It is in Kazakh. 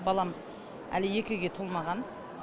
балам әлі екіге толмаған